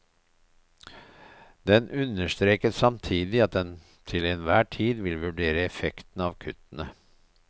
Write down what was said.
Den understreket samtidig at den til enhver tid vil vurdere effekten av kuttene.